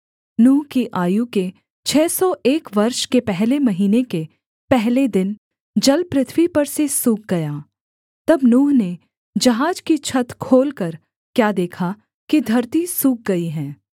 नूह की आयु के छः सौ एक वर्ष के पहले महीने के पहले दिन जल पृथ्वी पर से सूख गया तब नूह ने जहाज की छत खोलकर क्या देखा कि धरती सूख गई है